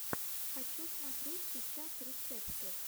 хочу смотреть сейчас рецепты